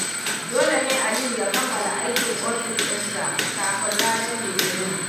Dole ne Aliyu ya kammala aikin ofis dinsa kafin ranar Litinin.